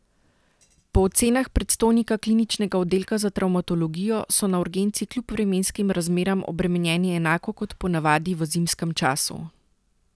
Po ocenah predstojnika kliničnega oddelka za travmatologijo so na urgenci kljub vremenskim razmeram obremenjeni enako kot ponavadi v zimskem času.